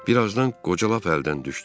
Bir azdan qoca lap əldən düşdü.